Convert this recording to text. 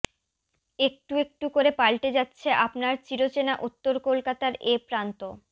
একটু একটু করে পাল্টে যাচ্ছে আপনার চিরচেনা উত্তর কলকাতার এ প্রান্ত